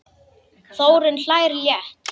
Þórunn hlær létt.